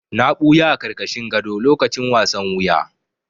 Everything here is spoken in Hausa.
Na ɓuya a ƙarƙashin gado lokacin wasan wuya.